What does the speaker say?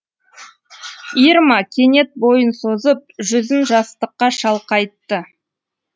ирма кенет бойын созып жүзін жастыққа шалқайтты